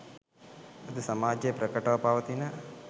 අද සමාජයේ ප්‍රකටව පවතින